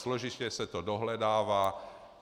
Složitě se to dohledává.